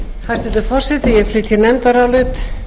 hæstvirtur forseti ég flyt hér nefndarálit